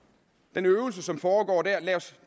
den øvelse som foregår der er lad os